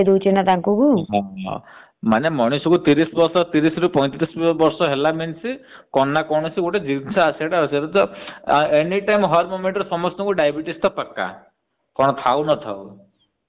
ବେମାର ଖାଇଦଉଛି ନ ତାଙ୍କୁ। ମାନେ ମଣିଷ କୁ ତିରିଶ ରୁ ପଇଁତିରିଶ ବର୍ଷ ହେଲା means କଣ ନା କୌ ଜିନିଷ ଆସିବାର ଅଛି। ଏବେ ତ ଅନ୍ୟ moment ରେ diabetes ତ ପକ୍କା ଆଉ କଣ ଥାଉ ନାଥଉ।